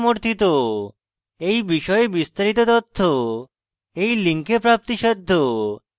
এই বিষয়ে বিস্তারিত তথ্য এই লিঙ্কে প্রাপ্তিসাধ্য